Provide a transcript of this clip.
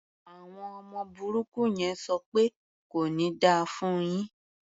Àwọn ọmọ burúkú yẹn ń sọ pẹ́ "kò ní da fún un yín".